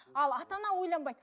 ал ата ана ойланбайды